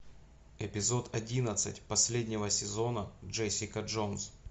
эпизод одиннадцать последнего сезона джессика джонс